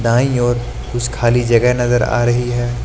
दाईं ओर कुछ खाली जगह नजर आ रही है।